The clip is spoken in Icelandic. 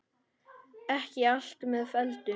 Ekki allt með felldu